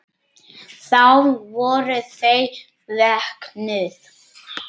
Þá voru þau vöknuð.